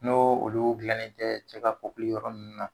N'o olu gilannen tɛ cɛ ka yɔrɔ nunnu na.